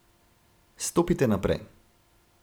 Stopite naprej.